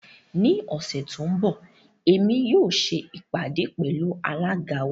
Ní òṣè tó nbọ̀, èmi yóò ṣè ipádé pẹ̀lú alága wa.